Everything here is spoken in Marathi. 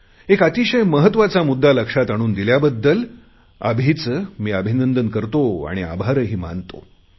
एक अतिशय महत्त्वाचा मुद्दा लक्षात आणून दिल्याबद्दल अभिचे मी अभिनंदन करतो आणि आभारही मानतो